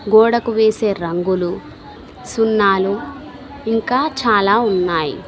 గోడకు వేసే రంగులు సున్నాలు ఇంకా చాలా ఉన్నాయ్.